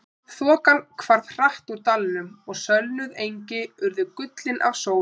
Þokan hvarf hratt úr dalnum og sölnuð engi urðu gullin af sól.